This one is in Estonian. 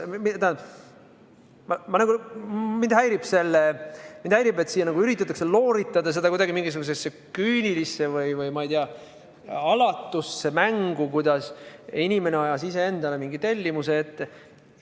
Tähendab, mind häirib, et siin üritatakse seda olukorda nagu looritada, näidata seda mingisuguse küünilise või alatu mänguna, kuidas inimene ise ajas endale mingisuguse tellimuse ette.